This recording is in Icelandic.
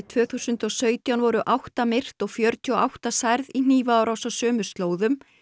tvö þúsund og sautján voru átta myrt og fjörutíu og átta særð í hnífaárás á sömu slóðum